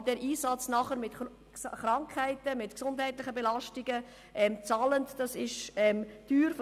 Aber diesen Einsatz dann mit Krankheiten und gesundheitlichen Belastungen zu zahlen, kommt teuer zu stehen.